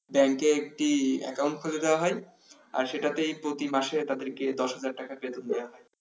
ব্যাংকে একটি account খুলে দেয়া হয় আর সেটাতেই প্রতি মাসেই তাদের দশ হাজার টাকা বেতন দেয়া হয়